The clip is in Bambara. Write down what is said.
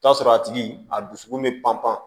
Taa sɔrɔ a tigi a dusukun mɛ pan pan